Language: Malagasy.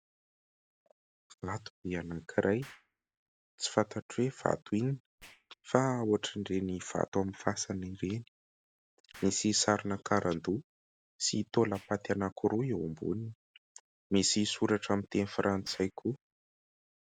Vato be anankiray, tsy fantatro hoe vato inona fa ohatran'ireny vato amin'ny fasana ireny. Misy sarina karandoha sy taolam-paty anankiroa eo amboniny. Misy soratra amin'ny teny Frantsay koa.